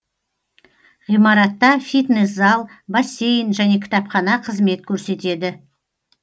ғимаратта фитнес зал бассейн және кітапхана қызмет көрсетеді